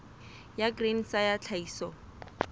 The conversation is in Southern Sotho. ya grain sa ya tlhahiso